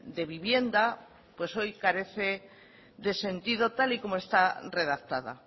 de vivienda pues hoy carece de sentido tal y como está redactada